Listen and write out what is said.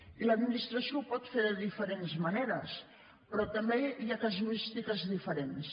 i l’administració ho pot fer de diferents maneres però també hi ha casuístiques diferents